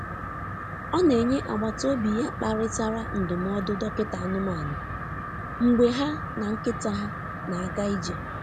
Ọ na onye agbata obi ya kparịtara ndụmọdụ dọkịta anụmanụ mgbe ha na nkịta ha na-aga ije.